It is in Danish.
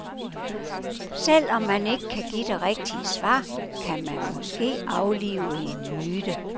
Selv om man ikke kan give det rigtige svar, kan man måske aflive en myte.